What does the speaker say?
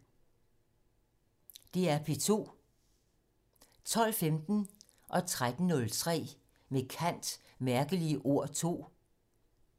DR P2